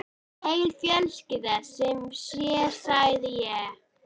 Mesta hrifningu vöktu vasaklútarnir frá Lillu.